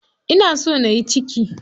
Ina so nayi ciki.